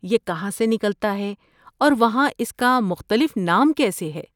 یہ کہاں سے نکلتا ہے اور وہاں اس کا مختلف نام کیسے ہے؟